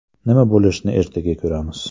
Nima bo‘lishini ertaga ko‘ramiz.